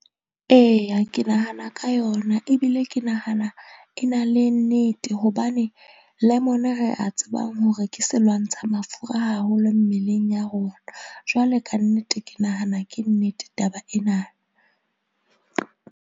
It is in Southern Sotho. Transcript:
Eya, ke nahana ka yona ebile ke nahana e na le nnete hobane lemon-e re a tsebang hore ke se lwantsha mafura haholo mmeleng ya rona. Jwale ka nnete, ke nahana ke nnete taba ena.